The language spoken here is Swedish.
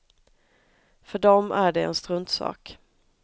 För dem är det en struntsak.